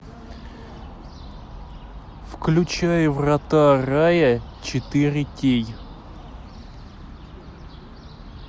включай врата рая четыре кей